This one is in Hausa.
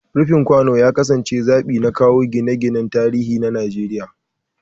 Rufin kwano ya kasance zabi na kowa a gine-ginen tarihi na Najeriya.